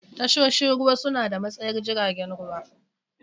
Tashoshin ruwa suna da matsayar jiragen ruwa.